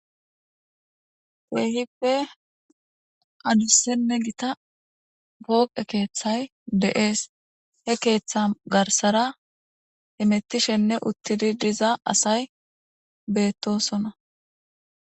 Kehipe adusanne gita poqe kethay de'es he ketha garsara hemetishenne utidi de'za asay betosona.